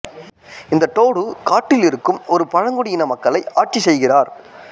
இந்த டோடு காட்டில் இருக்கும் ஒரு பழங்குடி இன மக்களை ஆட்சி செய்கிறார்